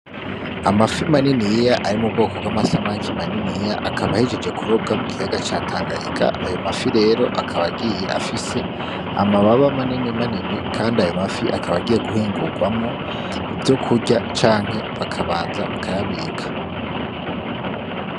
Amafi maniniya ari mu bwoko bw'amasamaki maniniya akaba ahejeje kurobwa mu kiyaga ca Tanganyika, ayo mafi rero akaba agiye afise amababa manini manini kandi ayo mafi akaba agiye guhingurwamwo ivyokurya canke bakabanza bakayabika.